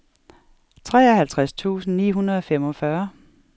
treoghalvtreds tusind ni hundrede og femogfyrre